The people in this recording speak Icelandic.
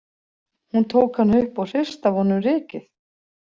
Hún tók hann upp og hristi af honum rykið.